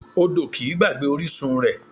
Odò kìí gbàgbé orísun rẹ̀